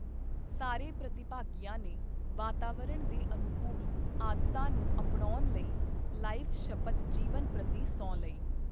ਸਾਰੇ ਪ੍ਰਤੀਭਾਗੀਆਂ ਨੇ ਵਾਤਾਵਰਣ ਦੇ ਅਨੁਕੂਲ ਆਦਤਾਂ ਨੂੰ ਅਪਣਾਉਣ ਲਈ ਲਾਈਫ ਸ਼ਪਥ ਜੀਵਨ ਪ੍ਰਤੀ ਸਹੁੰ ਲਈ।